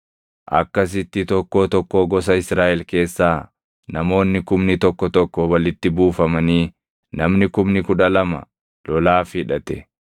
Akkasitti tokkoo tokkoo gosa Israaʼel keessaa namoonni kumni tokko tokko walitti buufamanii namni kumni kudha lama lolaaf hidhate.